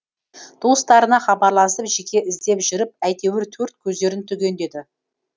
туыстарына хабарласып жеке іздеп жүріп әйтеуір төрт көздерін түгендеді